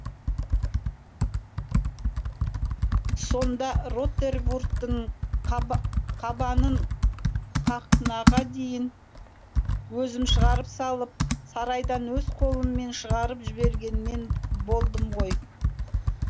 сонда ротервудтың қабанын қақнаға дейін өзім шығарып салып сарайдан өз қолыммен шығарып жіберген мен болдым ғой